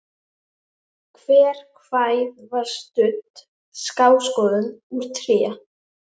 Hver hæð var studd skástoðum úr tré.